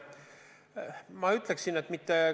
Ma ütleksin, et mitte.